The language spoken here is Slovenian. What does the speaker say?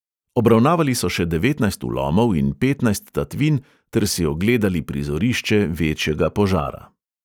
Obravnavali so še devetnajst vlomov in petnajst tatvin ter si ogledali prizorišče večjega požara.